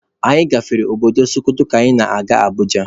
Anyị gafere obodo Sokoto ka anyị na-aga Abuja